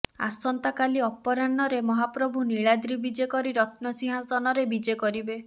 ଆସନ୍ତା କାଲି ଅପରାହ୍ନ ରେ ମହାପ୍ରଭୁ ନୀଳାଦ୍ରୀ ବିଜେ କରି ରତ୍ନସିଂହାସନ ରେ ବିିଜେ କରିବେ